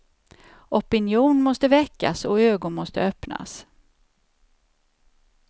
Opinion måste väckas och ögon måste öppnas.